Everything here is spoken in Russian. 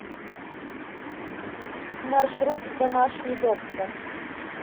маршрут домашний доктор